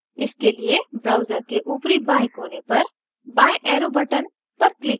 इसके लिए browser के ऊपरी बाएं कोने पर बाएं arrow button पर click करें